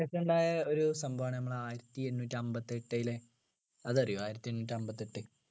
ശേഷം ഉണ്ടായ ഒരു സംഭവമാണ് നമ്മള് ആയിരത്തിഎണ്ണൂറ്റിഅമ്പതിഎട്ടിലെ അത് അറിയോ ആയിരത്തിഎണ്ണൂറ്റിഅമ്പത്തെട്ട്